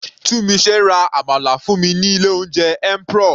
Tunmise ra àmàlà fún mi ní ilé oúnjẹ Emperor.